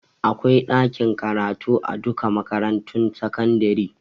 Akwai ɗakin karatu a duka makarantun sakandare